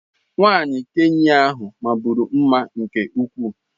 nwanyị Kenya ahu maburu mma nke ukwuu.